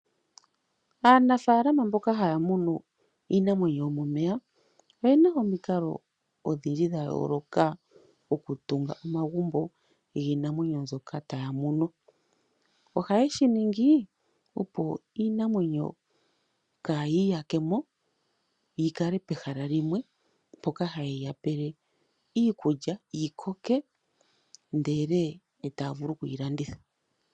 Aanafaalama mboka ha ya munu iinamwenyo yomomeya, oyena omikalo odhindji dha yooloka oku tunga omagumbo giinamwenyo mbyoka ya ya munu. Oha ye shi ningi opo iinamwenyo kaa yi iyakemo, yikale pegala limwe mpoka ha yi yapele iikulya yikoke, ndele taavulu oku yi landitha.